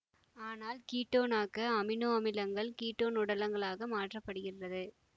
ஆனால் கீட்டோனாக்க அமினோ அமிலங்கள் கீட்டோன் உடலங்களாக மாற்றப்படுகின்றது